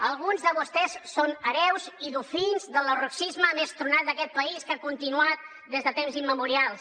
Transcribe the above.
alguns de vostès són hereus i delfins del lerrouxisme més tronat d’aquest país que ha continuat des de temps immemorials